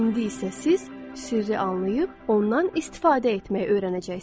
İndi isə siz sirri anlayıb ondan istifadə etməyi öyrənəcəksiniz.